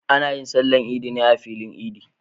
Ana yin sallar idi ne a filin idi